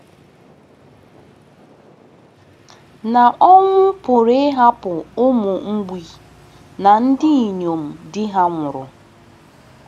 Na ọnwụ pụrụ ịhapụ ụmụ mgbei na ndị inyom di ha nwụrụ.